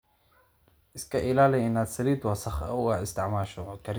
Iska ilaali inaad saliid wasakh ah u isticmaasho karinta.